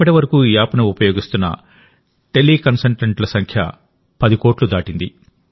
ఇప్పటి వరకుఈ యాప్ను ఉపయోగిస్తున్న టెలికన్సల్టెంట్ల సంఖ్య 10 కోట్లుదాటింది